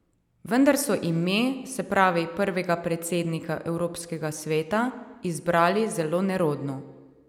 Vendar so ime, se pravi prvega predsednika evropskega sveta, izbrali zelo nerodno.